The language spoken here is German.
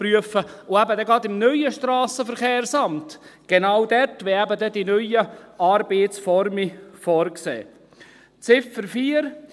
Und eben gerade im neuen SVSA, genau dort, wenn eben die neuen Arbeitsformen vorgesehen sind … Ziffer 4: